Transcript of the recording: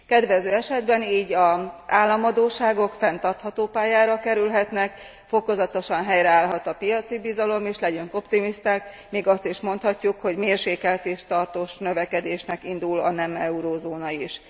Kedvező esetben így az államadósságok fenntartható pályára kerülhetnek, fokozatosan helyreállhat a piaci bizalom, és legyünk optimisták, még azt is mondhatjuk, hogy mérsékelt és tartós növekedésnek indul a nem eurózóna is.